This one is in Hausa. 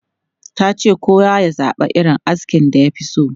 Ta ce kowa ya zaba irin askin da ya fi so.